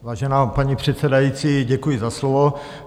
Vážená paní předsedající, děkuji za slovo.